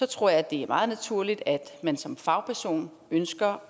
tror jeg det er meget naturligt at man som fagperson ønsker